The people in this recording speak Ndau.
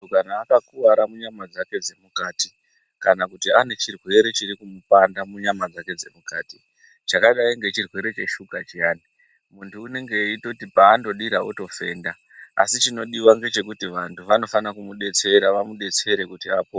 Muntu kana akakuwara munyama dzake dzemukati kana kuti ane chirwere chiri kumupanda munyama dzake dzemukati chakadai ngechirwere cheshuka chiyani muntu unenge eindoti paanodira unofenda asi chinodiwa ngechekuti vantu vanofana kumudetsera vamudetsere kuti apone.